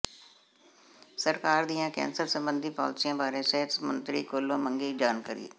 ਸਰਕਾਰ ਦੀਆਂ ਕੈਂਸਰ ਸਬੰਧੀ ਪਾਲਿਸੀਆਂ ਬਾਰੇ ਸਿਹਤ ਮੰਤਰੀ ਕੋਲੋਂ ਮੰਗੀ ਜਾਣਕਾਰੀ